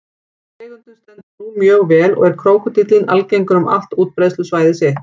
Tegundin stendur nú mjög vel og er krókódíllinn algengur um allt útbreiðslusvæði sitt.